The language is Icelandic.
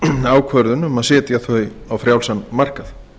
ákvörðun um að setja þau á frjálsan markað